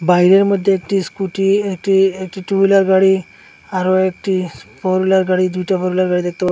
বাইরের মধ্যে একটি স্কুটি একটি একটু টু হুইলার গাড়ি আরো একটি ফোর হুইলার গাড়ি দুইটা ফোর হুইলার গাড়ি দেখতে --